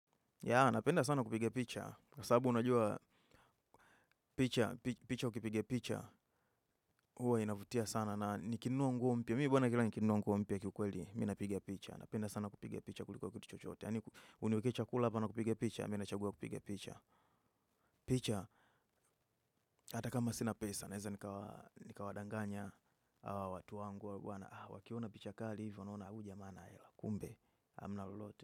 Ya, napenda sana kupige picha, kwa sababu unajua picha, picha ukipiga picha, huwa inavutia sana na nikinua nguo mpia. Mi buwana kila nikinua nguo mpia kikweli, minapiga picha. Napenda sana kupiga picha kuliko kitu chochoote. Ani, uniweke chakula apa na kupig picha, minachagua kupige picha. Picha, hata kama sinapesa, neza nikawadanganya, watu wangu, wakiona picha kali, hivyo naona ujamaa anahela, kumbe, amnalolote.